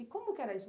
E como que era isso?